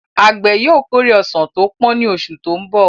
Àgbẹ̀ yóò kórè ọsàn tó pọ́n ní oṣù tó ń bọ̀.